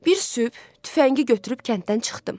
Bir sübh tüfəngi götürüb kənddən çıxdım.